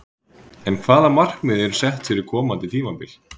En hvaða markmið eru sett fyrir komandi tímabil?